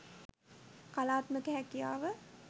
කලාත්මක හැකියාව